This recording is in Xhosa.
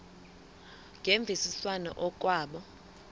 ngemvisiswano r kwabo